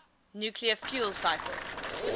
nuclear fuel cycle